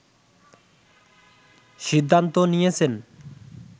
সিদ্ধান্ত নিয়েছেন